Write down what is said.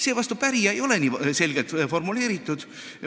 Seevastu pärija ei ole nii selgelt formuleeritud.